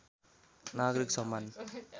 नागरिक सम्मान